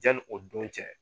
Janni o don cɛ.